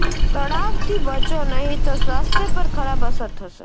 તણાવથી બચો નહીં તો સ્વાસ્થ્ય પર ખરાબ અસર થશે